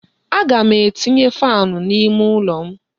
Aga m etinye faanị n'ime ụlọ m.